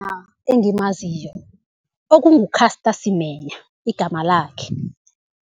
engimaziko okungu-Caster Semenya, igama lakhe.